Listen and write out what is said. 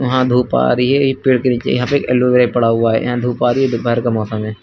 यहां धूप आ रही है। ये पेड़ के नीचे यहां पे एक एलोवेरा पड़ा हुआ है। यहां धूप आ रही है। दोपहर का मौसम है।